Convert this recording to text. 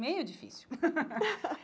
Meio difícil.